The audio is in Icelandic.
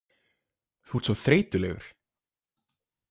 Þú ert svo þreytulegur.